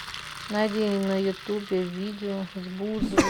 найди на ютубе видео с бузовой